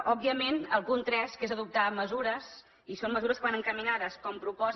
òbviament el punt tres que és adoptar mesures i són mesures que van encaminades com proposa